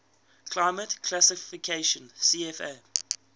climate classification cfa